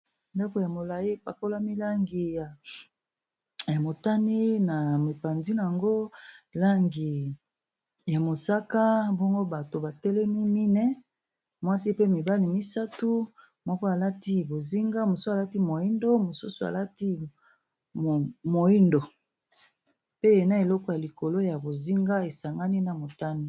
Ndako ya molai bapakolami langi ya motani na mopanzi yango langi ya mosaka bongo bato batelemi mine mwasi pe mibali misato mwoko alati bozinga mosusu alati moyindo mosusu alati moyindo pe na eleko ya likolo ya bozinga esangani na motani.